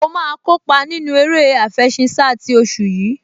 Mo máa kópa nínú eré àfẹṣinsá ti oṣù yìí